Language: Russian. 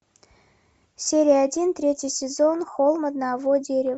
серия один третий сезон холм одного дерева